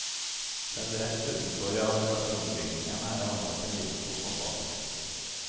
Selv rett utenfor administrasjonsbygningen er det anlagt en liten fotballbane.